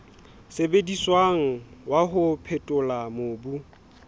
sebediswang wa ho phethola mobu